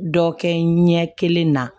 Dɔ kɛ n ɲɛ kelen na